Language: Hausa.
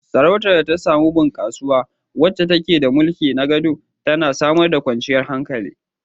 Sarautar da ta samu bunkasuwa, wacce take da mai mulki na gado, tana samar da kwanciyar hankali.